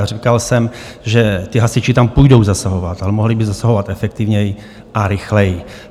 A říkal jsem, že ti hasiči tam půjdou zasahovat, ale mohli by zasahovat efektivněji a rychleji.